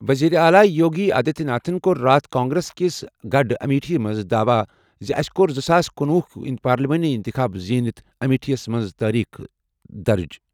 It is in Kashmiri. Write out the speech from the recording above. وزیر اعلیٰ یوگی آدتیہ ناتھن کوٚر راتھ کانگریس کِس گڑھ امیٹھی منٛز دعویٰ زِ "أسۍ کوٚر زٕ ساس کنوُہ پارلیمانی اِنتِخاب زیٖنِتھ امیٹھی منٛز تٲریخ درج"۔